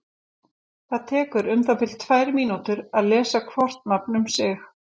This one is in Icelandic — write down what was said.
Það tekur um það bil tvær mínútur að lesa hvort nafn um sig.